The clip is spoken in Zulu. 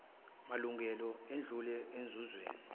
malungelo edlulela enzuzweni